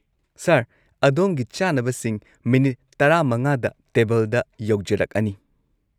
Sir, ꯑꯗꯣꯝꯒꯤ ꯆꯥꯅꯕꯁꯤꯡ minute ꯱꯵ꯗ ꯇꯦꯕꯜꯗ ꯌꯧꯖꯔꯛꯑꯅꯤ꯫